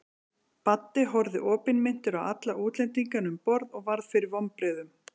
Baddi horfði opinmynntur á alla útlendingana um borð og varð fyrir vonbrigðum.